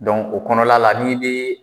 o kɔnɔna la ni den